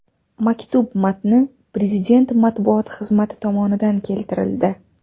Maktub matni Prezident matbuot xizmati tomonidan keltirildi .